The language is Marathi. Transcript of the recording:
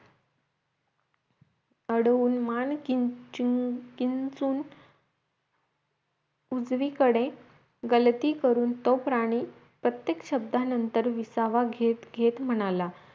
अडवून मान किंचून किंचून उजवी कडे गलती करून तो प्राणी प्रत्येक शब्दानंतर विसावा घेत घेत म्हणाल